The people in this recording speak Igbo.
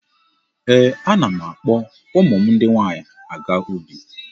Ee, ana m akpọ ụmụ m ndị nwaanyị aga ubi.